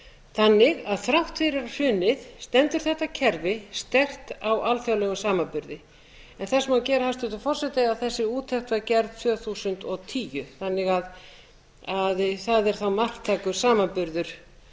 þannig að þrátt fyrir hrunið stendur þetta kerfi sterkt á alþjóðlegum samanburði en þess má geta hæstvirtur forseti að þessi úttekt var gerð tvö þúsund og tíu þannig að það er þá marktækur samanburður